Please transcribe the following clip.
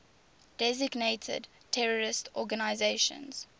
designated terrorist organizations